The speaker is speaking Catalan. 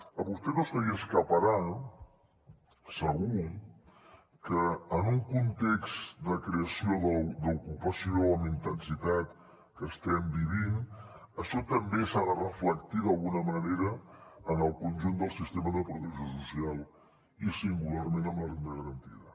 a vostè no se li escaparà segur que en un context de creació d’ocupació amb intensitat que estem vivint això també s’ha de reflectir d’alguna manera en el conjunt del sistema de protecció social i singularment en la renda garantida